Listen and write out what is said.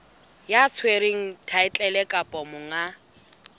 ya tshwereng thaetlele kapa monga